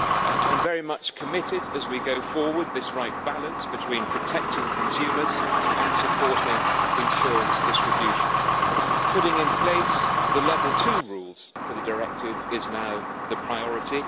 I am very much committed, as we go forward, to striking this right balance between protecting consumers and supporting insurance distribution. Putting in place the level 2 rules for the directive is now the priority.